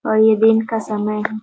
और यह दिन का समय है ।